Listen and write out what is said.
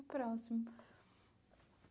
Próximo.